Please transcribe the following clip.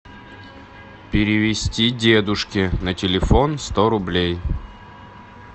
перевести дедушке на телефон сто рублей